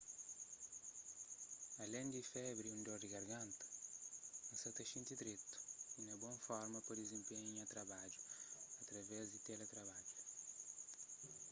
alén di febri y di un dor di garganta n sa ta xinti dretu y na bon forma pa dizenpenha nha trabadju através di teletrabadju